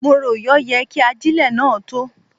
Mo rò yọ yẹ kí ajélẹ̀ náà tó.